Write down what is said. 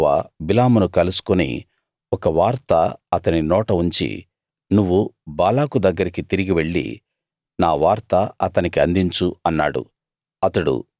యెహోవా బిలామును కలుసుకుని ఒక వార్త అతని నోట ఉంచి నువ్వు బాలాకు దగ్గరికి తిరిగి వెళ్లి నా వార్త అతనికి అందించు అన్నాడు